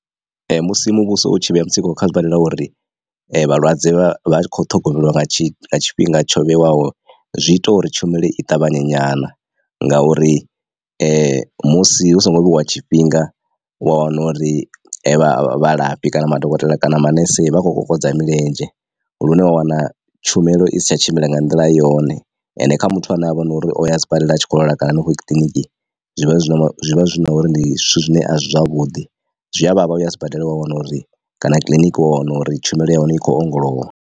Ee musi muvhuso u tshi vhea mutsiko kha zwibadela uri vhalwadze vha vha kho ṱhogomelwa nga tshifhinga tsho vhewaho zwi ita uri tshumelo i ṱavhanye nyana ngauri musi hu songo vheiwa tshifhinga wa wana uri vha vhalafhi kana madokotela kana manese vha khou kokodza milenzhe. Lune wa wana tshumelo i si tsha tshimbila nga nḓila yone ende kha muthu ane avha na uri o ya sibadela a tshi kho lwala kana henefho kiliniki zwi vha zwi na zwi vha zwi na uri ndi zwithu zwine a zwi zwavhuḓi zwi a vhavha uya sibadela wa wana uri kana kiḽiniki wa wana uri tshumelo ya hone i khou ongolowa.